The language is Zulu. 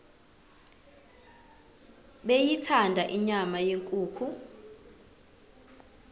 beyithanda inyama yenkukhu